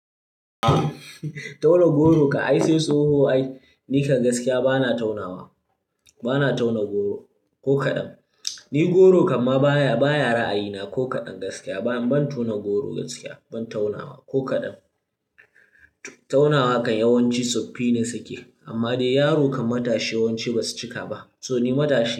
Tauna goro kan ai sai tsoho ai, ni kan gaskiya bana taunawa, bana tauna goro ko kaɗan. Ni goro kam baya, baya ra'ayina ko kaɗan gaskiya. Ban tauna goro gaskiya, ban taunawa ko kaɗan. Taunawa kan yawanci tsofaffi ne suke amma dai yaro kan matashi yawanci ba su cika ba. To ni matashi ne.